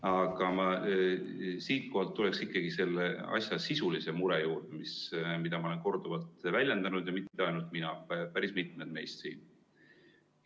Aga ma tulen siit ikkagi sisulise mure juurde, mida ma olen korduvalt väljendanud, ja mitte ainult mina, vaid päris mitmed meist siin.